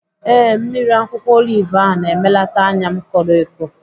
Ee, mmiri akwụkwọ olive ahụ na-emelata anya m koro eko.